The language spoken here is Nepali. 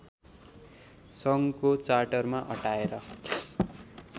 सङ्घको चार्टरमा अटाएर